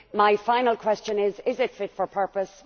My final question is is it fit for purpose?